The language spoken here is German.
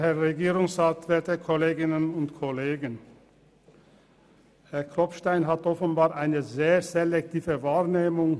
Herr Klopfenstein hat offenbar eine sehr selektive Wahrnehmung.